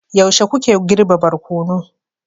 yaushe kuke girbe barkono